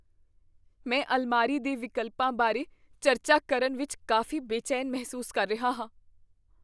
ਮੈਂ ਅਲਮਾਰੀ ਦੇ ਵਿਕਲਪਾਂ ਬਾਰੇ ਚਰਚਾ ਕਰਨ ਵਿੱਚ ਕਾਫ਼ੀ ਬੇਚੈਨ ਮਹਿਸੂਸ ਕਰ ਰਿਹਾ ਹਾਂ।